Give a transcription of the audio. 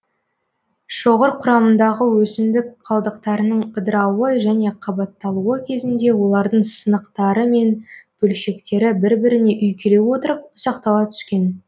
шоғыр кұрамындағы өсімдік қалдықтарының ыдырауы және қабатталуы кезінде олардың сынықтары мен бөлшектері бір біріне үйкеле отырып ұсақтала түскен